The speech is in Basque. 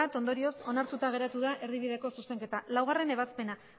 ondorioz onartuta geratu da erdibideko zuzenketa laugarrena ebazpena